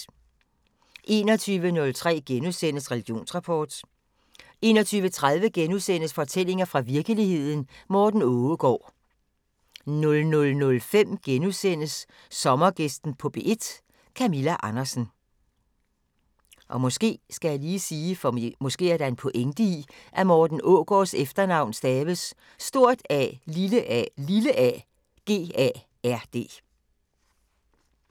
21:03: Religionsrapport * 21:30: Fortællinger fra virkeligheden – Morten Aaagard * 00:05: Sommergæsten på P1: Camilla Andersen *